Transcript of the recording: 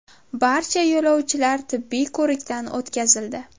Barcha yo‘lovchilar tibbiy ko‘rikdan o‘tkazildi.